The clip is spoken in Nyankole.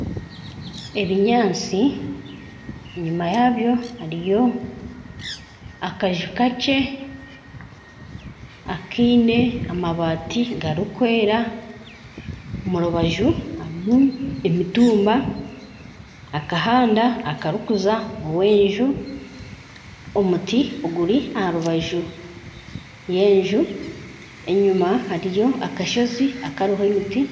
Ebinyaatsi enyuma yaabyo hariyo akanju kakye akiine amabaati garikwera omu rubaju harimu emitumba akahanda akarikuza ow'enju omuti oguri aha rubaju y'enju enyuma hariyo akashozi akariho emiti